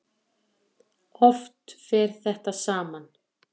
Oft fer þetta saman.